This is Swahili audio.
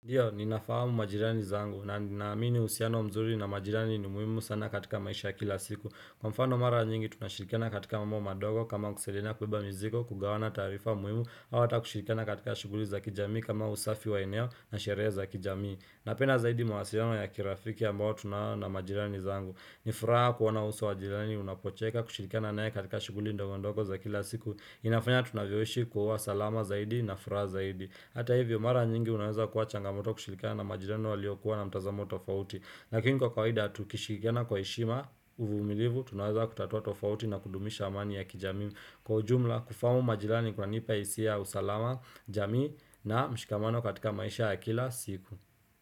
Ndio, ninafahamu majirani zangu, na naamini usiano mzuri na majirani ni muimu sana katika maisha ya kila siku. Kwa mfano mara nyingi, tunashirikana katika mambo madogo kama kusaidiana kubeba mizigo, kugawana taarifa muhimu, au hata kushirikana katika shughuli za kijamii kama usafi wa eneo na sherehe za kijamii. Napenda zaidi mswasiliano ya kirafiki ambao tunao na majirani zangu. Ni fraa kuona uso wa jirani unapocheka kushirikana nae katika shughuli ndogo ndogo za kila siku. Inafanya tunavyoishi kuwa salama zaidi na furaha zaidi. Hata hivyo mara nyingi unaweza kuwa changamoto kushirikana na majirani walio kuwa na mtazamo tofauti Lakini kwa kawaida tukishirikiana kwa heshima, uvumilivu, tunaweza kutatua tofauti na kudumisha amani ya kijamii Kwa ujumla, kufahamu majirani kwanipa hisia ya usalama, jamii na mshikamano katika maisha ya kila siku.